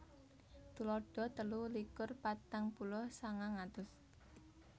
Tuladha telu likur patang puluh sangang atus